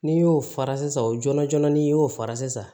N'i y'o fara sisan o joona ni i y'o fara sisan